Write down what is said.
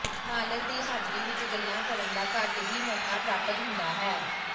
ਮਾਲਕ ਦੀ ਹਾਜ਼ਰੀ ਵਿਚ ਗੱਲਾਂ ਕਰਨ ਦਾ ਘੱਟ ਹੀ ਮੌਕਾ ਪ੍ਰਾਪਤ ਹੁੰਦਾ ਹੈ